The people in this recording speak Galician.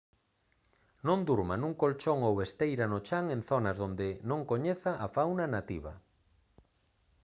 non durma nun colchón ou esteira no chan en zonas onde non coñeza a fauna nativa